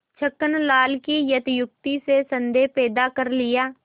छक्कन लाल की अत्युक्ति से संदेह पैदा कर लिया